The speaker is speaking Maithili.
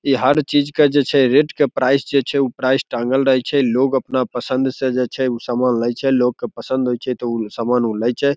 ई हर चीज के जे छै रेट के प्राइस उ प्राइस टाँगल रहय छै लोग अपना पसंद से जे छै उ सामान लय छै लोग के पसंद होय छै ते उ सामान उ लय छै।